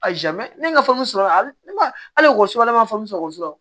A ne ka sɔrɔ la ne ma hali wɔ suwala ne ma faamu sɔrɔ